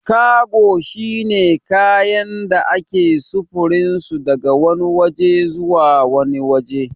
Kago shine kayan da ake sufurinsu daga wani waje zuwa wani waje